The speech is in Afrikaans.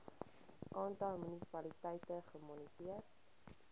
aantal munisipaliteite gemoniteer